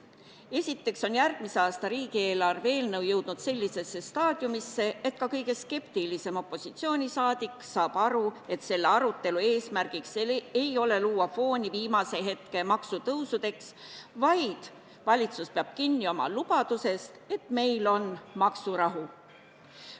Esiteks on järgmise aasta riigieelarve eelnõu jõudnud sellisesse staadiumisse, et ka kõige skeptilisem opositsiooniliige saab aru, et selle arutelu eesmärk ei ole luua fooni viimase hetke maksutõusudeks, vaid valitsus peab kinni oma lubadusest, et meil on maksurahu.